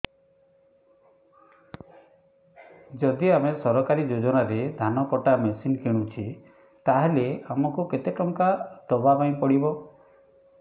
ଯଦି ଆମେ ସରକାରୀ ଯୋଜନାରେ ଧାନ କଟା ମେସିନ୍ କିଣୁଛେ ତାହାଲେ ଆମକୁ କେତେ ଟଙ୍କା ଦବାପାଇଁ ପଡିବ